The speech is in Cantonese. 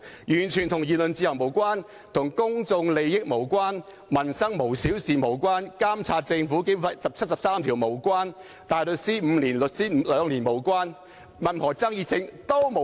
完全與言論自由無關，與公眾利益無關，與"民生無小事"無關，與根據《基本法》第七十三條監察政府無關，與大律師5年年資、律師兩年年資無關，與任何爭議都無關！